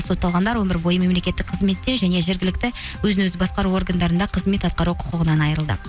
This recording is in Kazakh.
сотталғандар өмірбойы мемлекеттік қызметте және жергілікті өзін өзі басқару органдарында қызмет атқару құқығынан айырылды